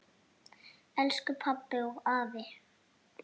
Elsku pabbi og afi.